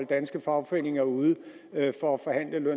danske fagforeninger ude